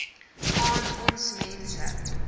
aan ons mense